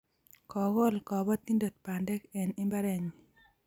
Kokol kapatindet pandek eng' imbarennyi